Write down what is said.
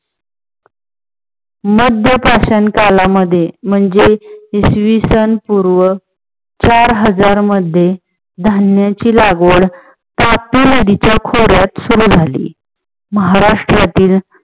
मध्य पाषाण कालामध्ये म्हणजे इसविसन पूर्व चार हजार मध्ये धान्याची लागवड तापी नदीच्या खोऱ्यात सुरु झाली. महाराष्ट्रातील